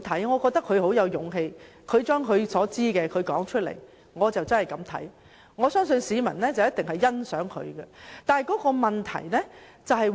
我覺得他很有勇氣，把他所知道的說出來，我真的是這樣看，而我相信市民一定是欣賞他的。